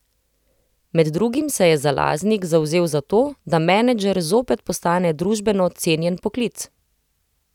Med drugim se je Zalaznik zavzel za to, da menedžer zopet postane družbeno cenjen poklic.